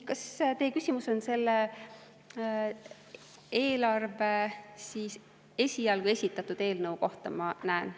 Kas teie küsimus on selle eelarve esialgu esitatud eelnõu kohta?